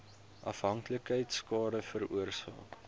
afhanklikheid skade veroorsaak